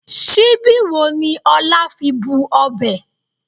Síbí wo ni Ọlá fi bu ọbẹ̀?